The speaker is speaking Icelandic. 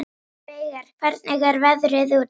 Veigar, hvernig er veðrið úti?